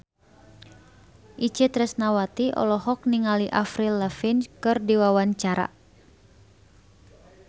Itje Tresnawati olohok ningali Avril Lavigne keur diwawancara